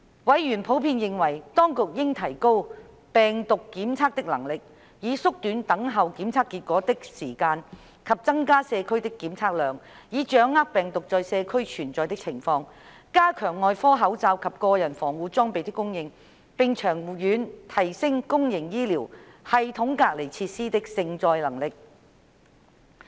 委員普遍認為，當局應提高病毒檢測的能力，以縮短等候檢測結果的時間；增加社區的檢測量，以掌握病毒在社區存在的情況；加強外科口罩及個人防護裝備的供應；並長遠提升公營醫療系統隔離設施的承載能力。